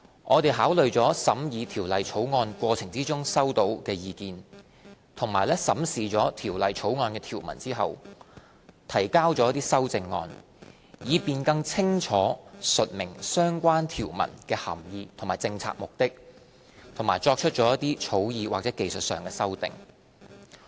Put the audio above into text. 我們考慮了審議《條例草案》過程中收到的意見，以及在審視《條例草案》的條文後，提交了一些修正案，以便更清楚述明相關條文的涵義及政策目的，以及作出一些草擬或技術修訂。